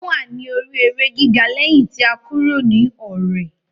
Ó wà ní orí eré gíga lẹ́yìn ti a kúrò ní Ọ̀rẹ̀.